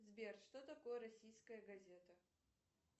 сбер что такое российская газета